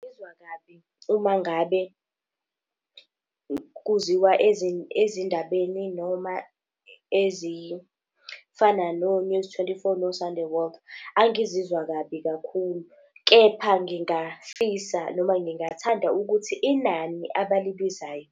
Ngizwa kabi, umangabe kuziwa ezindabeni noma ezifana no-News twenty-four no-Sunday World. Angizizwa kabi kakhulu, kepha ngingafisa noma ngingathanda ukuthi inani abalibizayo